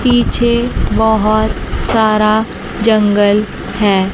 पीछे बहोत सारा जंगल है।